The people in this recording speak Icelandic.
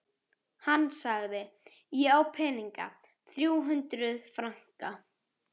Hann sagði: Ég á peninga. þrjú hundruð franka